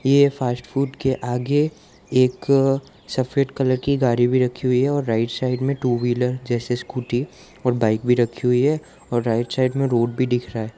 ये fast food के आगे एक सफेद कलर की गाड़ी भी रखी हुई है और राइट साइड में टू व्हीलर जैसे स्कूटी और बाइक भी रखी हुई है और राइट साइड में रोड भी दिख रहा है।